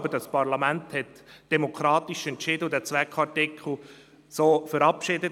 Aber das Parlament hat demokratisch entschieden und diesen Zweckartikel so verabschiedet.